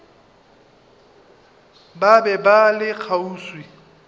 ba be ba le kgauswi